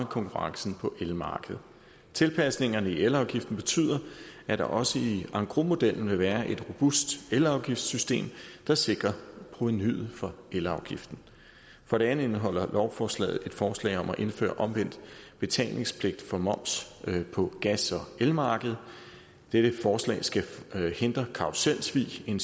konkurrencen på elmarkedet tilpasningerne i elafgiften betyder at der også i engrosmodellen vil være et robust elafgiftssystem der sikrer provenuet fra elafgiften for det andet indeholder lovforslaget et forslag om at indføre omvendt betalingspligt for moms på gas og elmarkedet dette forslag skal hindre karruselsvig en